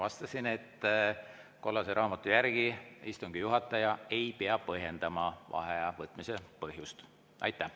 Ma vastasin, et kollase raamatu järgi istungi juhataja ei pea põhjendama vaheaja võtmise.